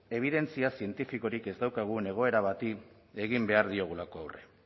ebidentzia zientifikorik ez daukagun egoera bati egin behar diogulako aurre